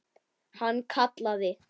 Hann kallaði